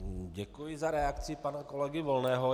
Děkuji za reakci pana kolegy Volného.